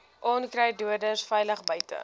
onkruiddoders veilig buite